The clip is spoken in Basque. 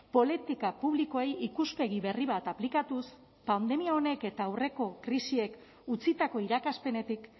politika publikoei ikuspegi berri bat aplikatuz pandemia honek eta aurreko krisiek utzitako irakaspenetik